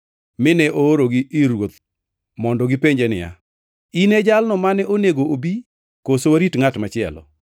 mine oorogi ir Ruoth mondo gipenje niya, “In e jalno mane onego obi koso warit ngʼat machielo?”